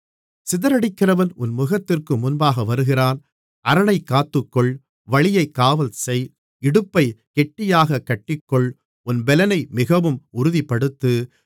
சிதறடிக்கிறவன் உன் முகத்திற்கு முன்பாக வருகிறான் அரணைக் காத்துக்கொள் வழியைக் காவல் செய் இடுப்பைக் கெட்டியாகக் கட்டிக்கொள் உன் பெலனை மிகவும் உறுதிப்படுத்து